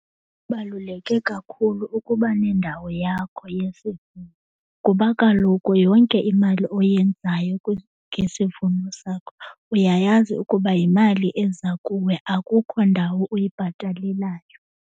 Kubaluleke kakhulu ukuba nendawo yakho yesivuno kuba kaloku yonke imali oyenzayo ngesivuno sakho uyayazi ukuba yimali eza kuwe akukho ndawo uyibhatalelayo.